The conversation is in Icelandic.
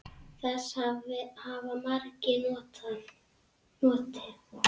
Þess hafa margir notið.